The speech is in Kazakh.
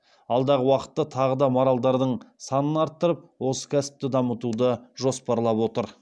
алдағы уақытта тағы да маралдардың санын арттырып осы кәсіпті дамытуды жоспарлап отыр